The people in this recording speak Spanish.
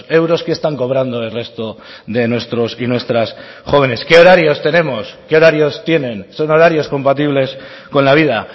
euros qué están cobrando el resto de nuestros y nuestras jóvenes qué horarios tenemos qué horarios tienen son horarios compatibles con la vida